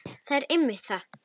Það er einmitt það.